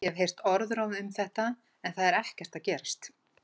Ég hef heyrt orðróm um þetta en það er ekkert að gerast.